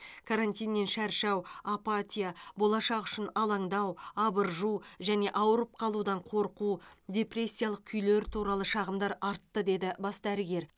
карантиннен шаршау апатия болашақ үшін алаңдау абыржу және ауырып қалудан қорқу депрессиялық күйлер туралы шағымдар артты деді бас дәрігер